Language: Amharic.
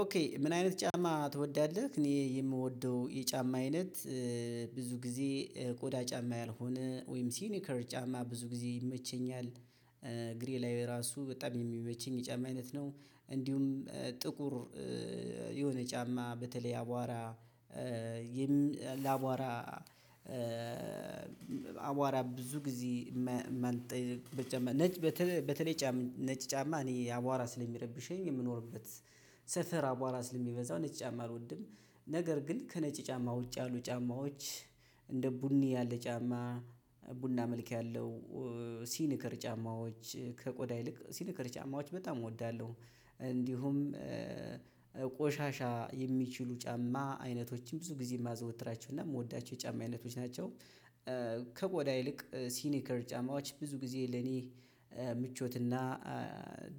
ኦኬ ምን አይነት ጫማ ትወዳለህ? እኔ የምወደው የጫማ አይነት ብዙ ጊዜ ቆዳ ጫማ ያልሆነ ወይም ሲኒከር ጫማ ብዙ ጊዜ ይመቸኛል። ግሬ ላይ ራሱ በጣም የሚመቸኝ የጫማ አይነት ነው። እንዲሁም ጥቁር የሆነ ጫማ በተለይ አቧራ ላቧራ አቧራ ብዙ ጊዜ ነጭ በተለይ በተለይ ነጭ ጫማ እኔ አቧራ ስለሚረብሸኝ የምኖርበት ሰፈር አቧራ ስለሚበዛው ነጭ ጫማ አልወድም። ነገር ግን ከነጭ ጫማ ውጭ ያሉ ጫማዎች እንደ ቡኒ ያለ ጫማ ቡና መልክ ያለው ሲኒከር ጫማዎች ከቆዳ ይልቅ ሲኒከር ጫማዎች በጣም እወዳለሁ። እንዲሁም ቆሻሻ የሚችሉ ጫማ አይነቶችም ብዙ ጊዜ ማዘወትራቸው እና ምወዳቸው የጫማ አይነቶች ናቸው። ከቆዳ ይልቅ ሲኒከር ጫማዎች ብዙ ጊዜ ለኔ ምቾትና